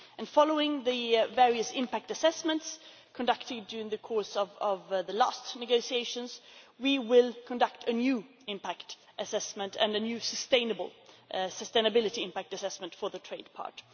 Following the various impact assessments conducted during the course of the last negotiations, we will conduct a new impact assessment and a new sustainability impact assessment for the trade part.